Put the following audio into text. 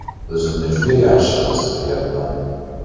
O‘zimni juda yaxshi his qilyapman.